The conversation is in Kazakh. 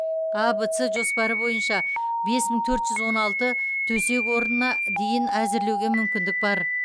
а в с жоспары бойынша бес мың төрт жүз он алты төсек орнына дейін әзірлеуге мүмкіндік бар